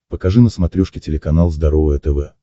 покажи на смотрешке телеканал здоровое тв